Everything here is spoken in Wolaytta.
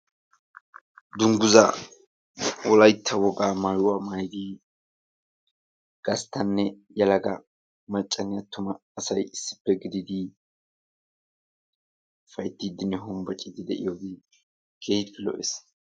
Dungguza, Wolaytta woga maayuwaa maayyidi gasttanne yelagaa maccanne attuma asay issippe gidid ufayttidinne hombbochidi issippe de'iyoogee keehin lo''ees.